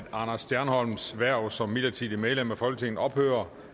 anders stjernholms hverv som midlertidigt medlem af folketinget ophører